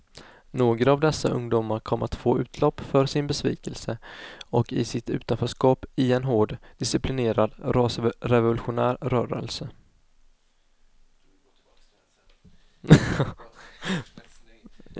Några av dessa ungdomar kom att få utlopp för sin besvikelse och sitt utanförskap i en hårt disciplinerad rasrevolutionär rörelse.